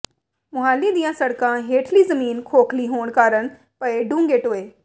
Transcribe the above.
ਮੁਹਾਲੀ ਦੀਆਂ ਸੜਕਾਂ ਹੇਠਲੀ ਜ਼ਮੀਨ ਖੋਖਲੀ ਹੋਣ ਕਾਰਨ ਪਏ ਡੂੰਘੇ ਟੋਏ